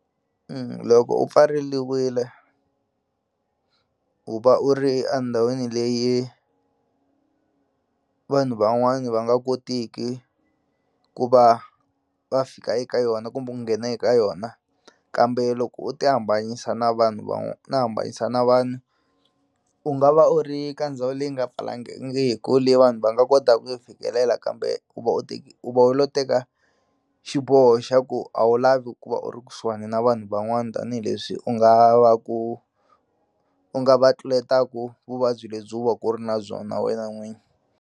Loko u pfariliwile u va u ri endhawini leyi vanhu van'wani va nga kotiki ku va va fika eka yona kumbe ku nghena eka yona kambe loko u ti hambanyisa na vanhu u ti hambanyisa na vanhu u nga va u ri ka ndhawu leyi nga leyi vanhu va nga kota ku yi fikelela kambe u va u u va u lo teka xiboho xa ku a wu lavi ku va u ri kusuhani na vanhu van'wani tanihileswi u nga va ku u nga va tluletelaku vuvabyi lebyi u va ku u ri na byona wena n'wini.